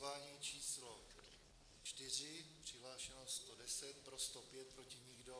Hlasování číslo 4, přihlášeno 110, pro 105, proti nikdo.